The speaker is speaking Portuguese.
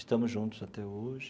Estamos juntos até hoje.